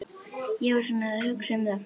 Ég var svona að hugsa um það.